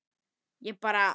Ég bara.